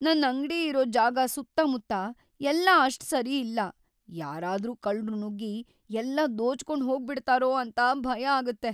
ನನ್ ಅಂಗ್ಡಿ ಇರೋ ಜಾಗ ಸುತ್ತಮುತ್ತ ಎಲ್ಲ ಅಷ್ಟ್‌ ಸರಿ ಇಲ್ಲ, ಯಾರಾದ್ರೂ ಕಳ್ರು ನುಗ್ಗಿ ಎಲ್ಲ ದೋಚ್ಕೊಂಡ್‌ ಹೋಗ್ಬಿಡ್ತಾರೋ ಅಂತ ಭಯ ಆಗತ್ತೆ.